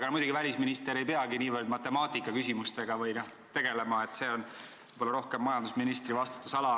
Aga muidugi, välisminister ei peagi niivõrd matemaatikaga tegelema, see on võib-olla rohkem majandusministri vastutusala.